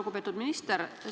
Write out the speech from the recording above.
Lugupeetud minister!